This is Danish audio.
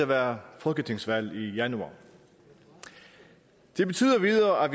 være folketingsvalg i januar det betyder videre at